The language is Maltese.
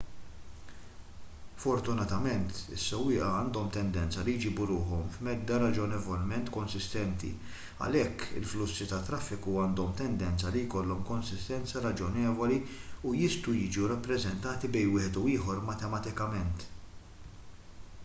fortunatament is-sewwieqa għandhom tendenza li jġibu ruħhom f'medda raġonevolment konsistenti għalhekk il-flussi tat-traffiku għandhom tendenza li jkollhom konsistenza raġonevoli u jistgħu jiġu rappreżentati bejn wieħed u ieħor matematikament